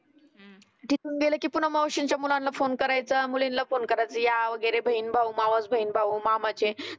तीथुन गेले की पुन्हा मावशींच्या मुलांना फोन करायचं मुलींना फोन करायचं म्हणायचं या वगैरे बहीण भाऊ, मावस बहिण भाऊ मामाचे